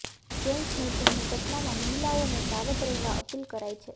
chain સ્નેચિંગની ઘટનામાં મહિલાઓને સાવધ રહેવા અપીલ કરાઈ છે